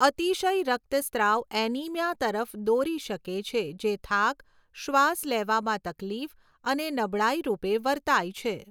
અતિશય રક્તસ્રાવ એનિમિયા તરફ દોરી શકે છે જે થાક, શ્વાસ લેવામાં તકલીફ અને નબળાઈ રૂપે વર્તાય છે.